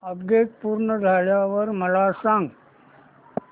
update पूर्ण झाल्यावर मला सांग